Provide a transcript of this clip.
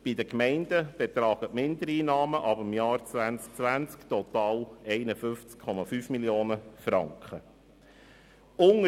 Bei den Gemeinden werden die Mindereinnahmen ab 2020 total 51,5 Mio. Franken betragen.